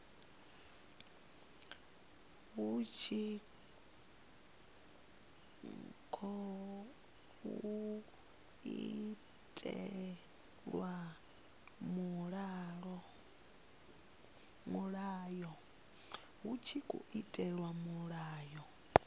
hu tshi tkhou itelwa mulayo